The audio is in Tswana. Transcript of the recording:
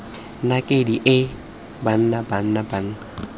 nakedi hei banna banna banna